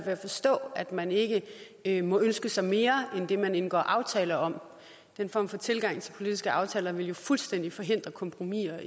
at forstå at man ikke ikke må ønske sig mere end det man indgår aftale om den form for tilgang til politiske aftaler ville jo fuldstændig forhindre kompromiser